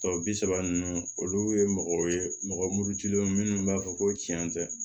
Tɔ bi saba ninnu olu ye mɔgɔ ye mɔgɔ murutilen don minnu b'a fɔ ko tiɲɛ tɛ